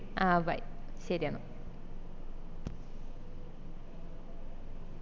ആ bye ശെരിയെന്ന